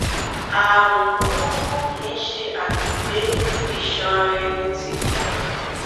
ààrùn burúkú kìí ṣe àmì pé iṣan ara ẹni ti ya